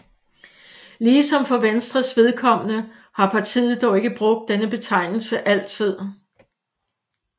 Ligesom for Venstres vedkommende har partiet dog ikke brugt denne betegnelse altid